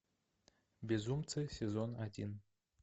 безумцы сезон один